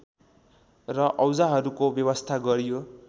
र औजाहरूको व्यवस्था गरियो